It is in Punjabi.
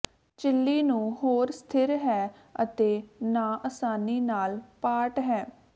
ਝਿੱਲੀ ਨੂੰ ਹੋਰ ਸਥਿਰ ਹੈ ਅਤੇ ਨਾ ਆਸਾਨੀ ਨਾਲ ਪਾਟ ਹੈ